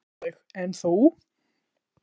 Áslaug: En þú?